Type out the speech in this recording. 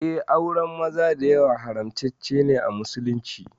Eh, auren maza da yawa haramtaccene a musulunci.